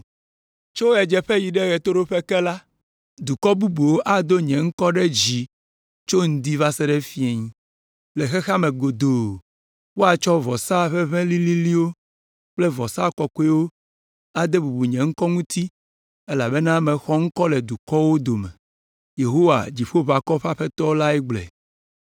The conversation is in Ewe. Tso ɣedzeƒe yi ɖe ɣetoɖoƒe ke la, dukɔ bubuwo ado nye ŋkɔ ɖe dzi tso ŋdi va se ɖe fiẽ. Le xexea me godoo woatsɔ vɔsa ʋeʋẽ lĩlĩlĩwo kple vɔsa kɔkɔewo ade bubu nye ŋkɔ ŋuti elabena mexɔ ŋkɔ le dukɔwo dome.” Yehowa, Dziƒoʋakɔwo ƒe Aƒetɔ lae gblɔe.